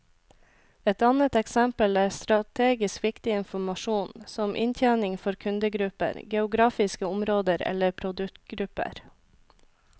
Et annet eksempel er strategisk viktig informasjon, som inntjening for kundegrupper, geografiske områder eller produktgrupper.